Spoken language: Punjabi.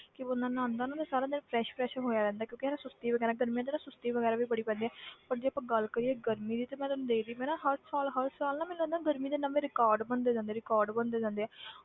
ਕਿ ਬੰਦਾ ਨਹਾਉਂਦਾ ਨਾ ਸਾਰਾ ਦਿਨ fresh fresh ਹੋਇਆ ਰਹਿੰਦਾ ਕਿਉਂਕਿ ਹਨਾ ਸੁਸਤੀ ਵਗ਼ੈਰਾ ਗਰਮੀਆਂ 'ਚ ਨਾ ਸੁਸਤੀ ਵਗ਼ੈਰਾ ਵੀ ਬੜੀ ਪੈਂਦੀ ਹੈ ਪਰ ਜੇ ਆਪਾਂ ਗੱਲ ਕਰੀਏ ਗਰਮੀ ਦੀ ਤੇ ਮੈਂ ਤੈਨੂੰ ਦੱਸਦੀ ਪਈ ਨਾ ਹਰ ਸਾਲ ਹਰ ਸਾਲ ਨਾ ਮੈਨੂੰ ਲੱਗਦਾ ਗਰਮੀ ਦੇ ਨਵੇਂ record ਬਣਦੇ ਜਾਂਦੇ ਆ record ਬਣਦੇ ਜਾਂਦੇ ਆ